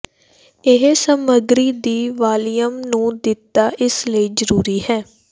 ਇਹ ਸਮੱਗਰੀ ਦੀ ਵਾਲੀਅਮ ਨੂੰ ਦਿੱਤਾ ਇਸ ਲਈ ਜ਼ਰੂਰੀ ਹੈ